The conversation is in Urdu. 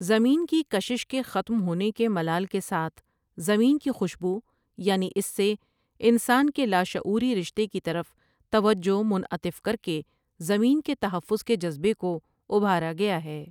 زمین کی کشش کے ختم ہونے کے ملال کے ساتھ زمین کی خوشبو یعنی اس سے انسان کے لاشعور ی رشتے کی طرف توجہ منعطف کر کے زمین کے تحفظ کے جذبے کو ابھارا گیاہے ۔